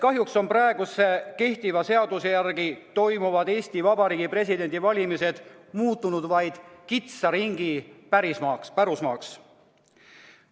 Kahjuks on praeguse seaduse järgi toimuvad Eesti Vabariigi presidendi valimised muutunud vaid kitsa ringi pärusmaaks.